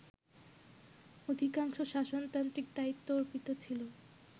অধিকাংশ শাসনতান্ত্রিক দায়িত্ব অর্পিত ছিল